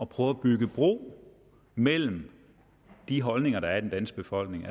prøve at bygge bro mellem de holdninger der er i den danske befolkning